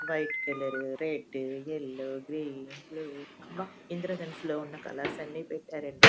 White colour red yellow green blue అబ్బ ఇంద్రధనస్సులో ఉన్న కలర్స్ అన్ని పెట్టారండి.